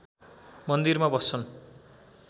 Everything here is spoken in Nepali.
मन्दिरमा बस्छन्